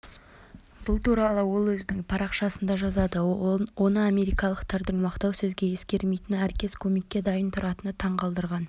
бұл туралы ол өзінің парақшасында жазады оны америкалықтардың мақтау сөзге есірмейтіні әркез көмекке дайын тұратыны таңғалдырған